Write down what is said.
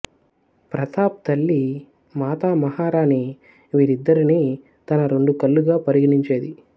ప్రతాప్ తల్లి మాతామహారాణి వీరిద్దరినీ తన రెండు కళ్ళుగా పరిగణించేది